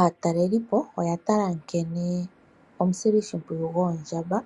Aatalelipo oya tala nkene omusilishimpwiyu goondjamba